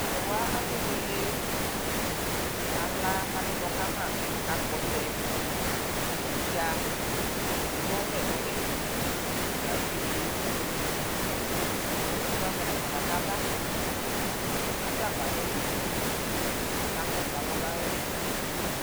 talʋwa akebʋele akala akaɖʋnɔ Kama kakakpɔtsɛ niɖƶa kewʋɔvlɛ nʋli kʋ ayɔɛdi wʋ nevi kʋ emʋavɛ naƒa kakala aɖʋagbaɖɔ ayʋti kaka kɔsʋ alʋlaɛ niɖƶɛ